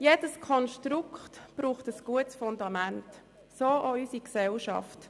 Jedes Konstrukt braucht ein gutes Fundament, so auch unsere Gesellschaft.